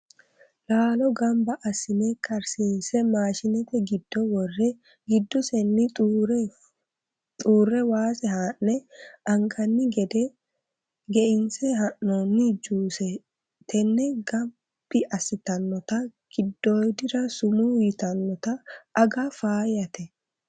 Laalo gamba assine karsiise maashinete giddo worre giddosenni xuure waase haa'ne anganni gede geinse haa'nonni juse tene gabbi assitanotta giddoodira summu ytanotta aga faayyate.